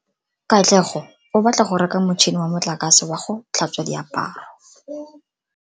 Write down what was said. Katlego o batla go reka motšhine wa motlakase wa go tlhatswa diaparo.